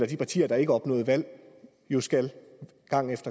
de partier der ikke opnåede valg jo skal